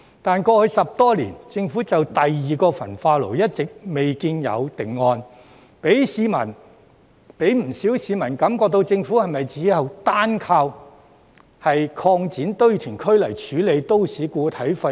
但是，過去10多年，政府就第二個焚化爐一直未見有定案，讓不少市民感覺到政府是否單靠擴展堆填區來處理都市固體廢物。